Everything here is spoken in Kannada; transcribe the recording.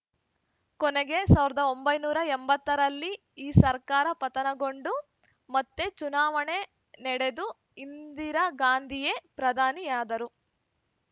ಕೊನೆಗೆ ಸಾವಿರದ ಒಂಬೈನೂರ ಎಂಬತ್ತರಲ್ಲೇ ಈ ಸರ್ಕಾರ ಪತನಗೊಂಡು ಮತ್ತೆ ಚುನಾವಣೆ ನಡೆದು ಇಂದಿರಾ ಗಾಂಧಿಯೇ ಪ್ರಧಾನಿ ಅದರು